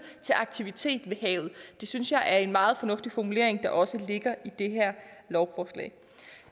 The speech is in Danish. til aktivitet ved havet det synes jeg er en meget fornuftig formulering der også ligger i det her lovforslag